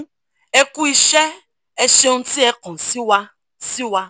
e ku iṣẹ́ ẹ́ ṣeun ti e kan si wa si wa